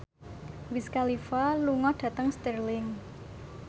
Wiz Khalifa lunga dhateng Stirling